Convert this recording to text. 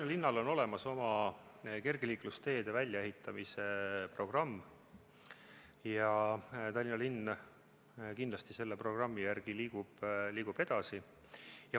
Tallinnal on olemas oma kergliiklusteede väljaehitamise programm ja Tallinn kindlasti selle programmi järgi liigub edasi.